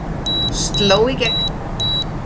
Sló í gegn